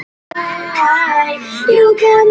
Allir á skíðum nema þú.